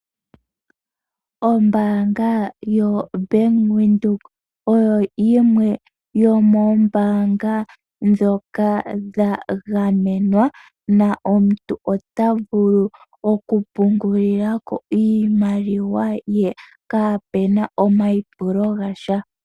Ombaanga yo Bank Windhoek oyo yimwe yomoombaanga ndho dha gamenwa. Omuntu ota vulu oku pungulila ko iimaliwa ye kaapena omayi pulo gasha.